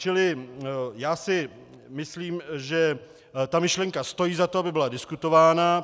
Čili já si myslím, že ta myšlenka stojí za to, aby byla diskutována.